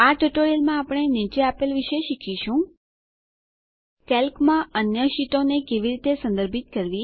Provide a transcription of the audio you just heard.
આ ટ્યુટોરીયલમાં આપણે નીચે આપેલ વિશે શીખીશું કેલ્કમાં અન્ય શીટોને કેવી રીતે સંદર્ભિત કરવી